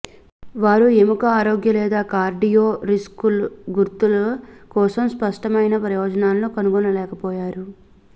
వారు ఎముక ఆరోగ్య లేదా కార్డియో రిస్కు గుర్తుల కోసం స్పష్టమైన ప్రయోజనాలను కనుగొనలేకపోయారు